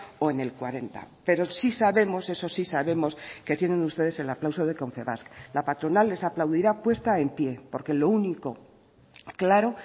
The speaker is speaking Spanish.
o en el cuarenta pero sí sabemos eso sí sabemos que tienen ustedes el aplauso de confebask la patronal les aplaudirá puesta en pie porque lo único claro